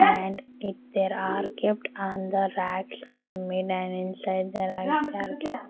and it there are kept on the are made an inside the there are .